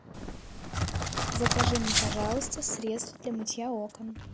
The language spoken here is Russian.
закажи мне пожалуйста средство для мытья окон